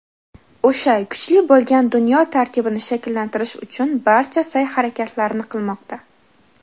o‘sha kuchli bo‘lgan dunyo tartibini shakllantirish uchun barcha sa’y-harakatlarni qilmoqda.